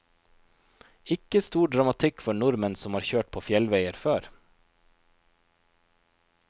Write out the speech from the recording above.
Ikke stor dramatikk for nordmenn som har kjørt på fjellveier før.